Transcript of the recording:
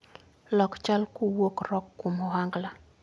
Lok chal kuwuok rock kuom ohangla